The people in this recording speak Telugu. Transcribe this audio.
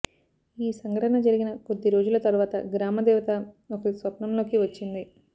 ఈ సంఘటన జరిగిన కొద్ది రోజుల తర్వాత గ్రామ దేవత ఒకరి స్వప్నంలోకి వచ్చింది